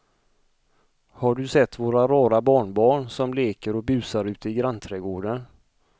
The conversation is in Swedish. Har du sett våra rara barnbarn som leker och busar ute i grannträdgården!